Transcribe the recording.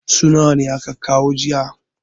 su nawa aka kawo jiya?